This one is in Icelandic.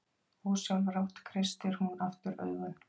Ósjálfrátt kreistir hún aftur augun.